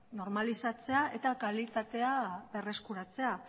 normalizatzea eta kalitatea berreskuratzea